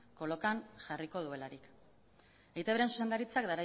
kolokan jarriko duelarik eitbren zuzendaritzak